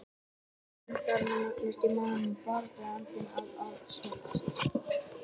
Fiðringurinn farinn að magnast í maganum og baráttuandinn að að skerpast.